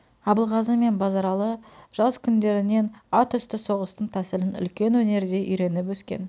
абылғазы мен базаралы жас күндерінен ат үсті соғыстың тәсілін үлкен өнердей үйреніп өскен